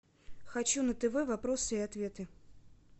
хочу на тв вопросы и ответы